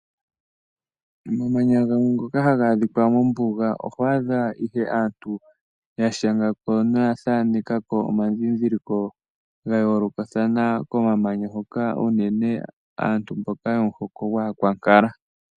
Komamanya gamwe ngoka haga adhika mombuga oho adha ko nduno aantu ya shanga ko noya thaaneka ko omadhindhiliko ga yoolokathana komamanya hoka unene aantu mbok yomuhoko gwAakwankala.